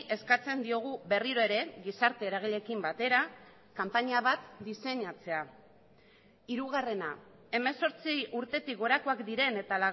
eskatzen diogu berriro ere gizarte eragileekin batera kanpaina bat diseinatzea hirugarrena hemezortzi urtetik gorakoak diren eta